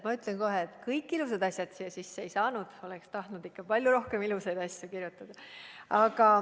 Ma ütlen kohe, et kõik ilusad asjad siia sisse ei saanud, oleksin tahtnud ikka palju rohkem ilusaid asju leppesse kirjutada.